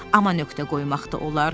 amma nöqtə qoymaq da olar.